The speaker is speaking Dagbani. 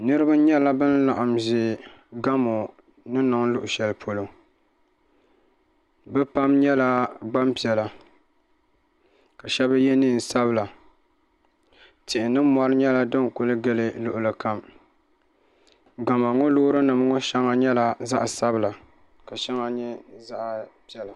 Niraba nyɛla bin laɣam ʒɛ gamo ni niŋ luɣu shɛli polo bi pam nyɛla Gbanpiɛla ka shab yɛ neen sabila tihi ni mɔri nyɛla din ku gili luɣuli kam gamo ŋɔ loori nim ŋɔ shɛŋa nyɛla zaɣ sabila ka shɛŋa nyɛ zaɣ piɛla